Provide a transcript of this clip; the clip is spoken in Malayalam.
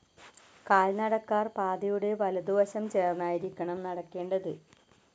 കാൽ നടക്കാർ പാതയുടെ വലതുവശം ചേർന്നായിരിക്കണം നടക്കേണ്ടത്.